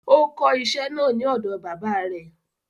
Ó kó iṣẹ́ náà ní ọ̀dọ baba rẹ̀